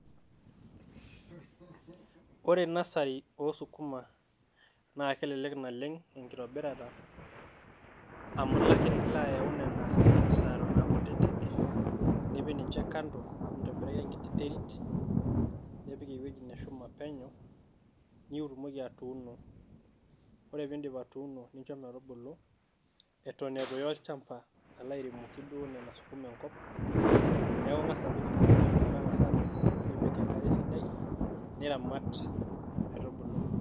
Ore nasari oosukuma, naa kelelek naleng' enkitobirata amu ilo ake niloayau nena seeds eton aakutitik nipik ninje kando, nintobiraki enkiti terit, nipik ewueji neshuma penyo nitumoki atuuno. Kore piindip atuuno ninjo metubulu eton etu iya olchamba alo airimoki duo nena sukuma enkop, neeku, ing'asa apik inakiti wueji metang'asa abulu nipik enkare esidai niramat metubulu.